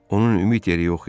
Onun ümid yeri yox idi.